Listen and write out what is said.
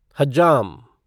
हज्जाम